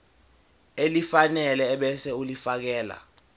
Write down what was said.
elifanele ebese ulifiakela